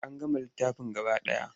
An gama littafin gaba ɗaya.